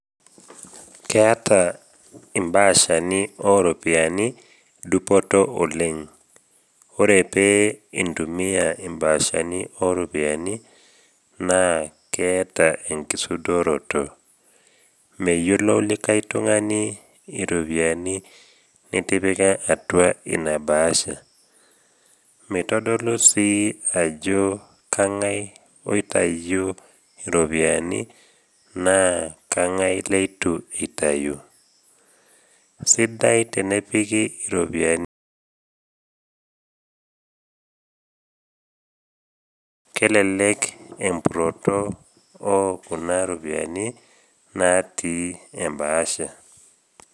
Keata imbaashani oropiani dupoto oleng. Ore pee intumia imbaashani o ropiani naa keata enkisudoroto, meyiolou likai tung’ani iropiani nitipika atua ina bahasha, meitodolu sii ajo kang’ai oitayio iropiani naa kang’ai leitu eitayu, sidai tenepiki iropiani olturrer, ore entorroni enye, kelelek empuroto o kuna ropiani natii embahasha.